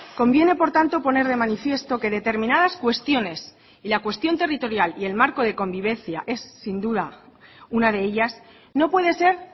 conviene por tanto poner de manifiesto que determinadas cuestiones y la cuestión territorial y el marco de convivencia es sin duda una de ellas no puede ser